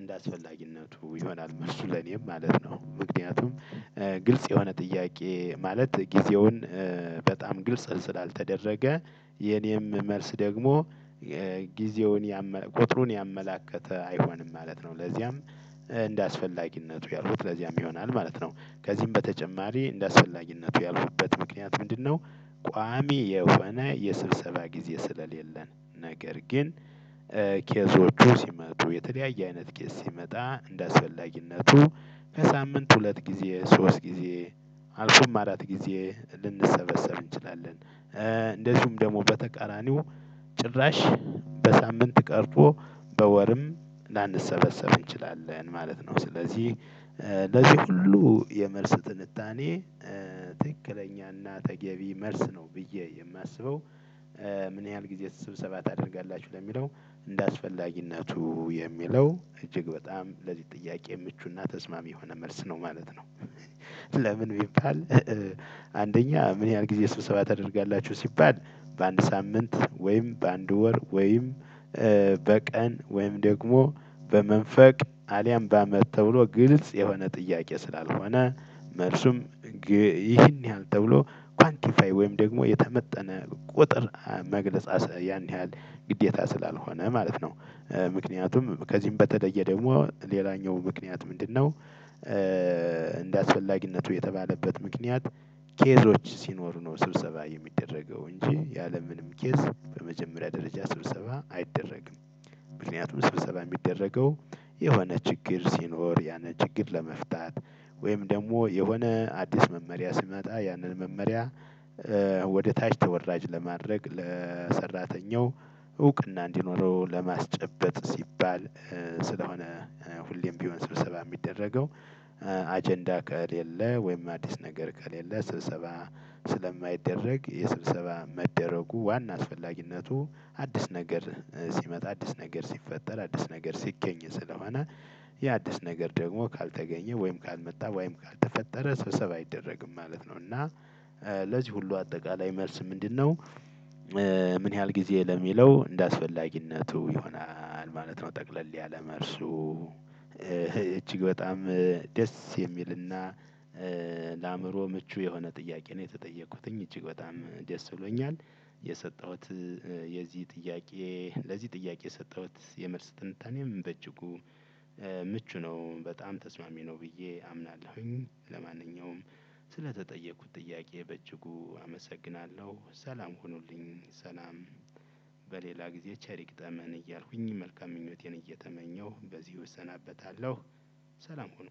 እንደአስፈላጊነቱ ይሆናል መርሱ ለኔም ማለት ነው። ምክንያቱም ግልጽ የሆነ ጥያቄ ማለት ጊዜውን በጣም ግልጽ ስላልተደረገ የኔም መልስ ደግሞ ጊዜውን ያመ ቁጥሩን ያመለከተ አይሆንም ማለት ነው። ለዚያም እንደ አስፈላጊነቱ ያልኩት ለዚያም ይሆናል ማለት ነው። ከዚህም በተጨማሪ እንደ አስፈላጊነቱ ያልኩበት ምክንያት ምንድነው? ቋሚ የሆነ የስብሰባ ጊዜ ስለሌለን ነገር ግን ኬዞቹ ሲመጡየተለያየ አይነት ኬዝ ሲመጣ እንዳስፈላጊነቱ ከሳምንት ሁለት ጊዜ ሶስት ጊዜ አልፎም አራት ጊዜ ልንሰበሰብ እንችላለን። እንደዚሁም ደሞ በተቃራኒው ጭራሽ ቀርቶ በወርምላንሰበሰብ እንችላለን ማለት ነው። ስለዚህ ለዚህ ሁሉ የመልስ ትንታኔ ትክክለኛና ተገቢ መልስነው ብየ የማስበው። ምን ያህል ጊዜ ስብሰባ ታደርጋላችሁ ለሚለው እንደ አስፈላጊነቱ የሚለው እጅግ በጣም ለዚህ ጥያቄ ምቹና ተስማሚ የሆነ መልስ ነው ማለት ነው። ለምን ቢባል? አንደኛ ምን ያህል ጊዜ ስብሰባ ታደርጋላችሁ ሲባል በአንድ ሳምንት ወይም በአንድ ወር ወይም በቀን ወይም ደግሞ በመንፈቅ አሊያም ባመት ተብሎ ግልጽ የሆነ ጥያቄ ስላልሆነ መልሱም ይህን ያህል ተብሎ ኳንቲፋይ ወይም ደሞ የተመጠነ ቁጥር መግለጽ ያን ያህል ግዴታ ስላልሆነ ማለት ነው። ምክንያቱም ከዚህም በተለየ ደሞ ሌላኛው ምክንያት ምንድነው? እንደአስፈላጊነቱ የተባለበት ምክንያት ኬዞች ሲኖሩ ነው ስብሰባ የሚደረገው እንጂ ያለምንም ኬዝ በመጀመሪያ ደረጃ ስብሰባ አይደረግም። ምክንያቱም ስብሰባ ሚደረገው የሆነ ችግር ሲኖር ያንን ችግር ለመፍታት ወይም ደሞ የሆነ አዲስ መመሪያ ሲመጣ ያንን መመሪያ። ወደ ታች ተወራጅ ለማድረግ ለሰራተኛው እውቅና እንዲኖረው ለማስጨበጥ ሲባል። ስለሆነ ሁሌም ቢሆን ስልሰባ ሚደረገው አጀንዳ ከሌለ ወይም አዲስ ነገር ከሌለ ስብሰባ ስለማይደረግ የስብሰባ መደረጉ ዋና አስፈላጊነቱ አዲስ ነገር ሲመጣ አዲስ ነገር ሲፈጠር አዲስ ነገር ሲገኝ ስለሆነ። ያ አዲስ ነገር ደግሞ ካልተገኘ ወይም ካልመጣ ወይም ካልተፈጠረ ሰብሰብ አይደረግም ማለት ነው። እና ለዚህ ሁሉ አጠቃላይ መልስ ምንድነው? ምን ያህል ጊዜ ለሚለው እንደአስፈላጊነቱ ይሆናል ማለት ነው። ጠቅለል ያለ መርሱ እጅግ በጣም ደስ የሚልና ለአእምሮ ምቹ የሆነ ጥያቄ ነው። የተጠየኩት እጅግ በጣም ደስ ብሎኛል። የሰጠሁት የዚህ ጥያቄ ለዚህ ጥያቄ የሰጠሁት የመልስ ጥንታኔም በጅጉ ምቹ ነው በጣም ተስማሚ ነው ብዬ አምናለሁኝ። ለማንኛውም ስለተጠየኩት ጥያቄ በእጅጉ አመሰግናለሁ ሰላም ሆኑልኝ ሰላም በሌላ ጊዜ ቸርይግጠመን እያልኩኝ መልካም ምኞቴን እየተመኘሁ በዚህ እሰናበታለሁ። ሰላም ሁኑ።